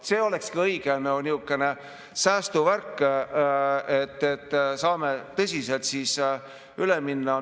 See olekski nihukene õige säästuvärk, et saame tõsiselt siis üle minna.